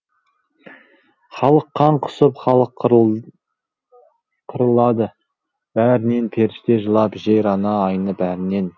халық қан құсып халық қырылады бәрінен періште жылап жер ана айнып әрінен